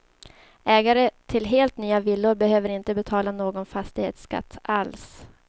Ägare till helt nya villor behöver inte betala någon fastighetsskatt alls.